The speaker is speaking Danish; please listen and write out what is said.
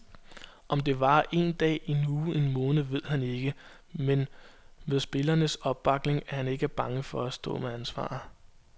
Om det varer en dag, en uge, en måned ved han ikke, men med spillernes opbakning er han ikke bange for at stå med ansvaret.